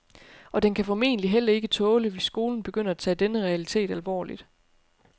Og den kan formentlig heller ikke tåle hvis skolen begynder at tage denne realitet alvorligt.